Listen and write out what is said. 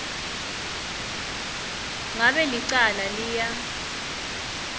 ngabe licala liya